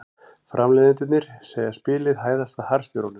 Framleiðendurnir segja spilið hæðast að harðstjórunum